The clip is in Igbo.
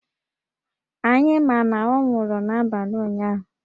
Anyị ma na ọ nwụrụ n’abalị ụnyahụ